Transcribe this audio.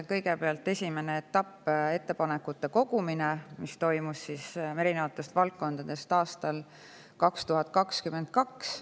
Kõigepealt, esimene etapp oli ettepanekute kogumine erinevatest valdkondadest, mis toimus aastal 2022.